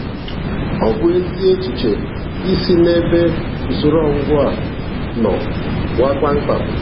Ọ bụ ezi echiche i si n'ebe usoro ọgwụgwọ a nọ pụọ kpamkpam.